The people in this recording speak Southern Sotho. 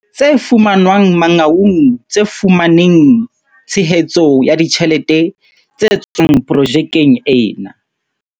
Tse fumanwang Mangaung tse fumaneng tshe hetso ya ditjhelete tse tswang projekeng ena.